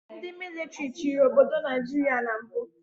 Ndị mịlịtrị chịrị obodo Naijiria na mbụ